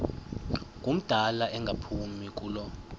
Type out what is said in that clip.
ngumdala engaphumi kulo